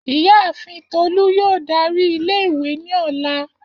Iyaafin Tolu yoo dari ile-iwe ni ọla.